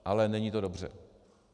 Ale není to dobře.